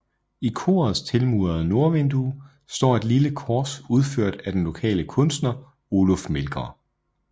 I korets tilmurede nordvindue står et lille kors udført af den lokale kunstner Oluf Melgaard